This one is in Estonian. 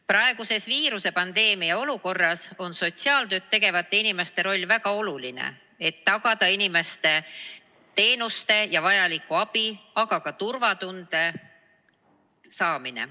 Praeguses viirusepandeemia olukorras on sotsiaaltööd tegevate inimeste roll väga oluline, et tagada inimestele teenuste ja vajaliku abi kättesaadavus, aga ka turvatunne.